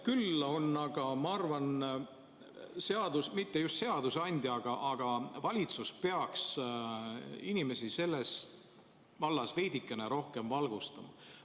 Küll aga ma arvan, et mitte seadusandja, vaid valitsus peaks inimesi selles vallas veidikene rohkem valgustama.